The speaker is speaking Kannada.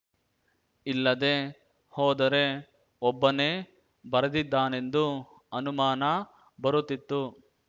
ಇಲ್ಲದೇ ಹೋದರೆ ಒಬ್ಬನೇ ಬರೆದಿದ್ದಾನೆಂದು ಅನುಮಾನ ಬರುತ್ತಿತ್ತು